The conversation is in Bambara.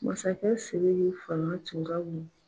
Masakɛ Sidiki fanga tun ka bon